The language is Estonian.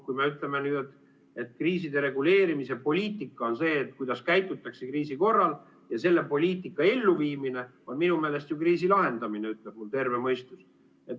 Kui me ütleme nüüd, et kriiside reguleerimise poliitika on see, kuidas käitutakse kriisi korral, ja selle poliitika elluviimine on minu meelest ju kriisi lahendamine, ütleb mu terve mõistus.